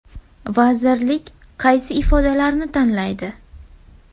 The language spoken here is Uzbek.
Vazirlik kaysi ifodalarni tanlaydi?